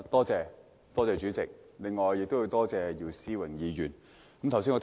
主席，我要多謝姚思榮議員提出這議案。